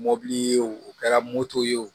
Mobili ye o o kɛra moto ye o